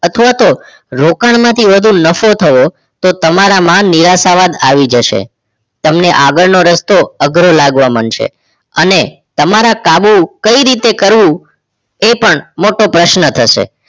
અથવા તો રોકાણમાંથી વધુ નફો થવો તો તમારામાં નિરાશા જ આવી જશે તમને આગળનો રસ્તો અઘરો લાગવા મંડશે અને તમારા કાબૂ કઈ રીતે કરવું એ પણ મોટો પ્રશ્ન થશે